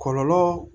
Kɔlɔlɔ